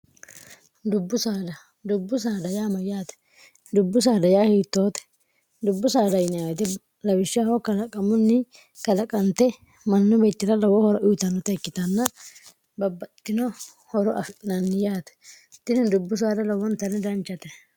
dubbu saada dubbu saada yaa mayyaate dubbu saada yaa hiittoote dubbu saada nyite lawishshahoo kalaqamunni kalaqante mannu beecira lowoo hora uyitannote ikkitanna babbaxxino horo afiinanni yaate tini dubbu saada lowwontanni danchate